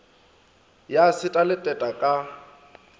ya seta le teta ka